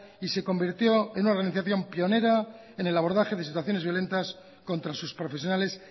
y se convirtió en una organización pionera en el abordaje de situaciones violentas contra sus profesionales